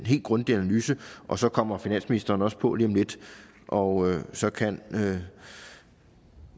helt grundige analyse og så kommer finansministeren jo også på lige om lidt og så kan